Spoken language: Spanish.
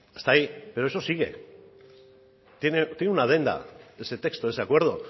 hasta ahí pero eso sigue tiene una adenda ese texto ese acuerdo